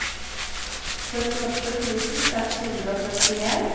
førtiåtte tusen seks hundre og førtien